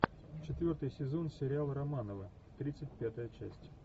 четвертый сезон сериал романовы тридцать пятая часть